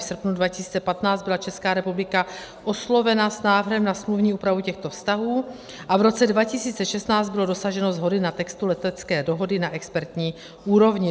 V srpnu 2015 byla Česká republika oslovena s návrhem na smluvní úpravu těchto vztahů a v roce 2016 bylo dosaženo shody na textu letecké dohody na expertní úrovni.